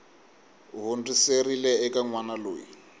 hundziserile eka n wana loyi